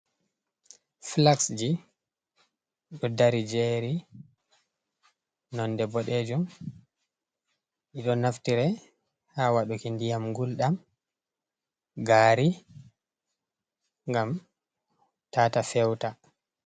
Filaksji ɗo dari jery nonde bodejum ɗiɗo naftire ha waɗuki ndiyam guldam gari ngam tata fewata.